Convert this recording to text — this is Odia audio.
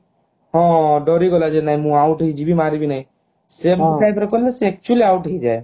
ହଁ ଡରିଗଲା ଯେ ନାହିଁ ମୁଁ out ହେଇଯିବି ମରିବି ନାହିଁ ସେମିତି type କଲେ ସେ actually out ହେଇଯାଏ